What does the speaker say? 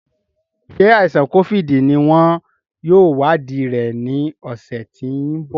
Ṣé àìsàn kófíìdì ní wọn yóò wadii rẹ ní ọ̀sẹ̀ tí ń bọ̀